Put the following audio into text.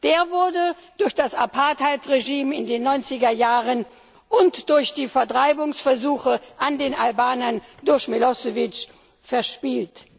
Der wurde durch das Apartheid Regime in den 90er Jahren und durch die Vertreibungsversuche an den Albanern durch Milošević verspielt.